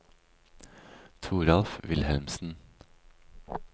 Toralf Wilhelmsen